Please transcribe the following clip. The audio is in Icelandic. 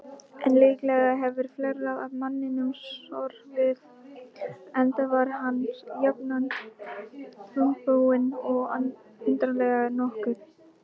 En líklega hefur fleira að manninum sorfið, enda var hann jafnan þungbúinn og undarlegur nokkuð.